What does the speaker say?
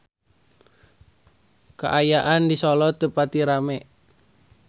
Kaayaan di Solo teu pati rame